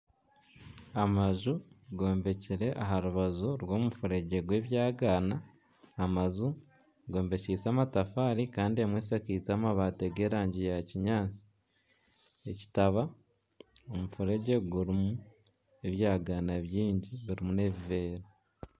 Amaju gombekire aha rubaju rw'omufuregye gw'ebyagaana. Amaju gombekiise amatafaari kandi emwe eshakiize amabaati g'erangi ya kinyaatsi. Ekitaba, omufuregye gurimu ebyagaana bingi birimu n'ebiveera.